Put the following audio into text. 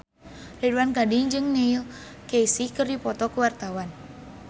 Ridwan Ghani jeung Neil Casey keur dipoto ku wartawan